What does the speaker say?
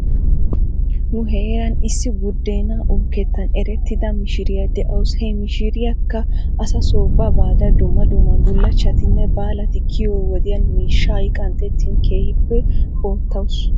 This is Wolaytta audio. Nu heeran issi budeenaa uukettan erettida mishiriyaa de'aws. He mi mishiriyaakka asaaso ba baada dumma dumma bullachchatinne baalati kiyiyoo wodiyan miishshay qanxxettin keehippe oottaws.